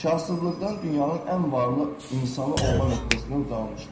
Kasıblıqdan dünyanın ən varlı insanı olma nöqtəsinə ucalmışdır.